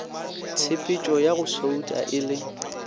tshepetšoya go souta e le